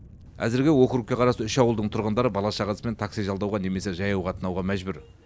әзірге округке қарасты үш ауылдың тұрғындары бала шағасымен такси жалдауға немесе жаяу қатынауға мәжбүр